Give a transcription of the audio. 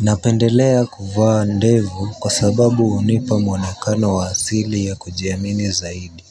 Napendelea kuvaa ndevu kwa sababu unipa mwanakano wa azili ya kujiamini zaidi